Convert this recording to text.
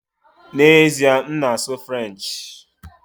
N'ezie, m na-asụ French